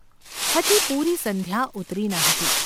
હજી પૂરી સંધ્યા ઊતરી ન હતી.